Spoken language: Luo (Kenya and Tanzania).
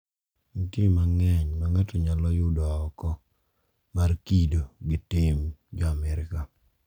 Nitie mang`eny ma ng`ato nyalo yudo oko mar kido gi tim jo Amerka.